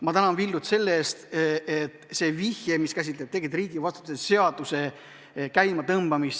Ma tänan Villut viite eest, et tuleks käima tõmmata riigivastutuse seaduse kohendamine.